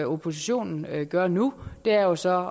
oppositionen gør nu er jo så